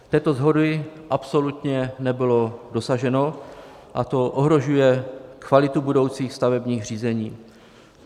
Této shody absolutně nebylo dosaženo, a to ohrožuje kvalitu budoucích stavebních řízení.